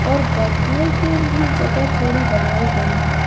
और बैठने के लिए जगह थोड़ी बनाई गयी है।